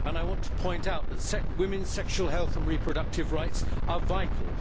I want to point out that women's sexual health and reproductive rights are vital.